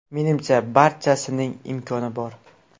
Menimcha, barchasining imkoni bor.